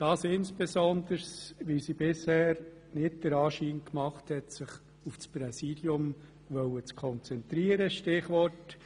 Dies insbesondere, weil sie bisher nicht den Anschein gemacht hat, sich auf das Präsidium konzentrieren zu wollen;